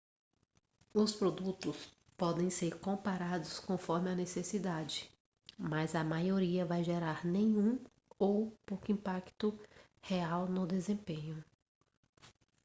os produtos podem ser comprados conforme a necessidade mas a maioria vai gerar nenhum ou pouco impacto real no desempenho